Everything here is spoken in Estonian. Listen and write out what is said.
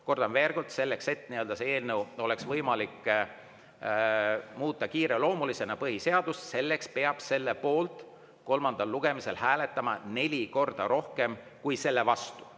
Kordan veel kord: selleks, et põhiseadust oleks võimalik muuta kiireloomulisena, peab selle poolt kolmandal lugemisel hääletama neli korda rohkem kui selle vastu.